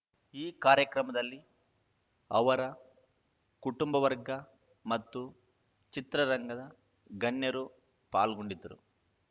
ಈ ಕಾರ್ಯಕ್ರಮದಲ್ಲಿ ಅವರ ಕುಟುಂಬವರ್ಗ ಮತ್ತು ಚಿತ್ರರಂಗದ ಗಣ್ಯರು ಪಾಲ್ಗೊಂಡಿದ್ದರು